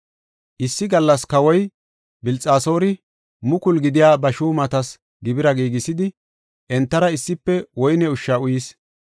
Issi gallas kawoy Bilxasoori mukulu gidiya ba shuumatas gibira giigisidi, entara issife woyne ushsha uyis.